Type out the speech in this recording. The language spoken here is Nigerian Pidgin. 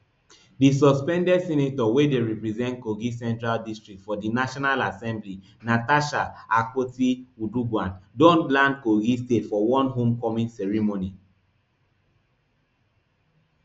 di suspended senator wey dey represent kogi central district for di national assembly natasha akpotiuduaghan don land kogi state for one home coming ceremony